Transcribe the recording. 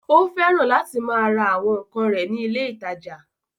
Ó fẹ́ràn láti máa ra àwọn ǹkan rẹ̀ ní ilé ìtajà